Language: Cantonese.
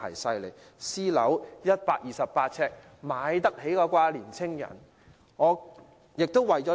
細小至128平方呎的私樓單位，年青人有能力購買吧？